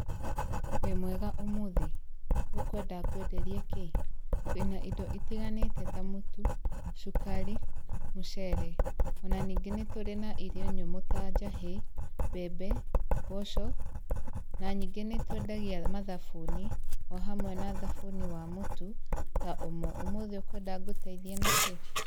Wĩ mwega ũmuthĩ, ũkwenda ngwenderie kĩ? Twĩna indo itiganĩte ta mũtu, cukari, mũcere ona ningĩ nĩtũrĩ na irio nyũmũ ta; njahĩ, mbembe, mboco, na ningĩ nĩtwendagia mathabuni, o hamwe na thabuni wa mũtu ta OMO. Ũmũthĩ ũkwenda ngũteithie nakĩ?